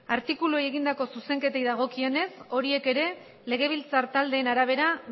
artikuluei egindako zuzenketei dagokienez horiek ere legebiltzar taldeen arabera